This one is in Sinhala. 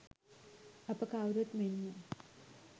අප කවුරුත් මෙන්ම